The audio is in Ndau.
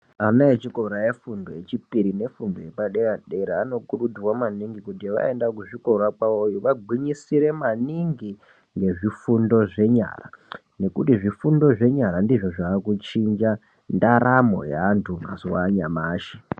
Ana echikora efundo yechipiri nefundo yepadera dera anokurudzirwa maningi kuti vaenda kuzvikora kwavoyo vagwinyisire maningi ngezvifundo zvenyara ngekuti zvifundo zvenyara ndizvo zvakuchinja ndaramo yeantu mazuva anyamashi .